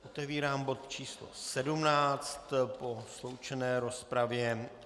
Otevírám bod číslo 17 po sloučené rozpravě.